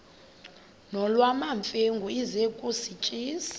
nolwamamfengu ize kusitiya